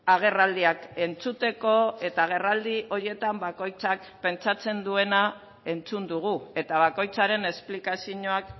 agerraldiak entzuteko eta agerraldi horietan bakoitzak pentsatzen duena entzun dugu eta bakoitzaren esplikazioak